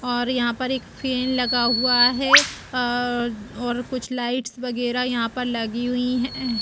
और यहाँ पर एक फेन लगा हुआ है अ और कुछ लाईट्स वगैरह यहाँ पर लगी हुई हैं।